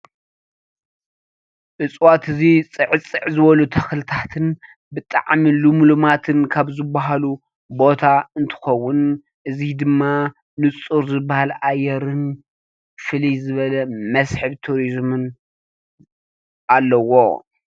እፅዋት እዚ ጽዕጽዕ ዝበሉ ተኽልታትን ብጣዕሚ ልምሉማትን ካብ ዝበሃሉ ቦታ እንትኸውን እዚ ድማ ንጹር ዝበሃል ኣየርን ፍልይ ዝበለ መስሕብ ቱሪዝምን ኣለዎ።